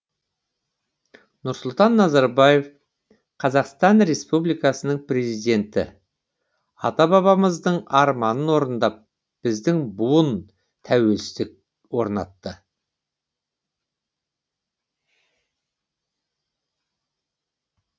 нұрсұлтан назарбаев қазақстан республикасының президенті ата бабамыздың арманын орындап біздің буын тәуелсіздік орнатты